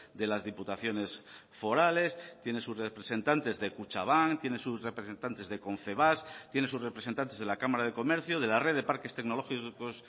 de las diputaciones forales tiene sus representantes de kutxabank tiene sus representantes de confebask tiene sus representantes de la cámara de comercio de la red de parques tecnológicos